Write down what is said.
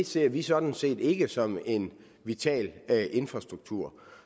ser vi sådan set ikke som en vital infrastruktur